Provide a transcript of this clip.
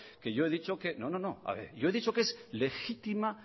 que yo he dicho que no no no yo he dicho que es legitima